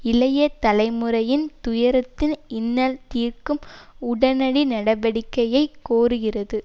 இளைய தலைமுறையின் துயரத்தின் இன்னல் தீர்க்கும் உடனடி நடவடிக்கையை கோருகிறது